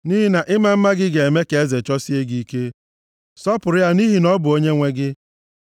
Nʼihi na ịma mma gị ga-eme ka eze chọsie gị ike. Sọpụrụ ya nʼihi na ọ bụ onyenwe gị.”